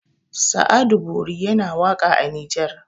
sa'adu bori yana waka a nijar